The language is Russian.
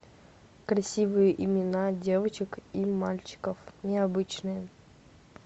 красивые имена девочек и мальчиков необычные